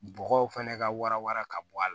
Bɔgɔw fana ka wara wara ka bɔ a la